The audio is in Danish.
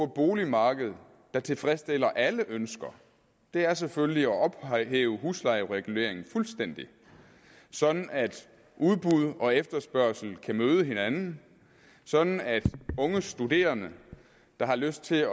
boligmarked der tilfredsstiller alle ønsker er selvfølgelig at ophæve huslejereguleringen fuldstændig sådan at udbud og efterspørgsel kan møde hinanden sådan at unge studerende der har lyst til at